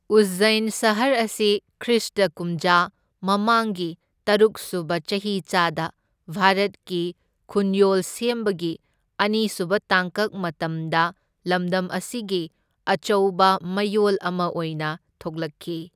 ꯎꯖꯖꯩꯟ ꯁꯍꯔ ꯑꯁꯤ ꯈ꯭ꯔꯤꯁꯇ ꯀꯨꯝꯖꯥ ꯃꯃꯥꯡꯒꯤ ꯇꯔꯨꯛ ꯁꯨꯕ ꯆꯍꯤꯆꯥꯗ ꯚꯥꯔꯠꯀꯤ ꯈꯨꯟꯌꯣꯜ ꯁꯦꯝꯕꯒꯤ ꯑꯅꯤꯁꯨꯕ ꯇꯥꯡꯀꯛ ꯃꯇꯝꯗ ꯂꯝꯗꯝ ꯑꯁꯤꯒꯤ ꯑꯆꯧꯕ ꯃꯌꯣꯜ ꯑꯃ ꯑꯣꯏꯅ ꯊꯣꯛꯂꯛꯈꯤ꯫